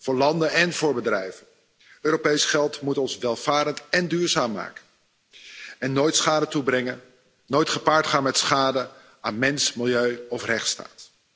Voor landen en voor bedrijven. Europees geld moet ons welvarend én duurzaam maken en mag nooit schade toebrengen, nooit gepaard gaan met schade aan mens, milieu of rechtsstaat.